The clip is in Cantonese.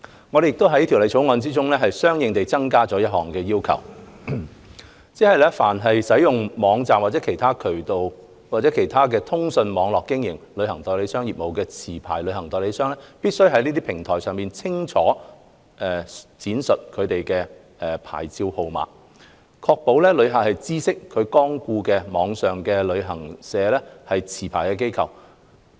我們亦在《條例草案》中相應地增加了一項要求，即凡使用網站或任何其他通訊網絡經營旅行代理商業務的持牌旅行代理商，必須在這些平台上清楚述明其牌照號碼，確保旅客知悉其光顧的網上旅行社為持牌機構。